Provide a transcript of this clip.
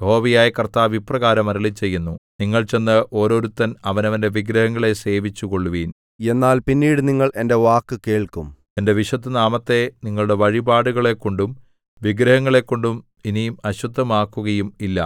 യഹോവയായ കർത്താവ് ഇപ്രകാരം അരുളിച്ചെയ്യുന്നു നിങ്ങൾ ചെന്ന് ഓരോരുത്തൻ അവനവന്റെ വിഗ്രഹങ്ങളെ സേവിച്ചുകൊള്ളുവിൻ എന്നാൽ പിന്നീട് നിങ്ങൾ എന്റെ വാക്കു കേൾക്കും എന്റെ വിശുദ്ധനാമത്തെ നിങ്ങളുടെ വഴിപാടുകളെക്കൊണ്ടും വിഗ്രഹങ്ങളെക്കൊണ്ടും ഇനി അശുദ്ധമാക്കുകയും ഇല്ല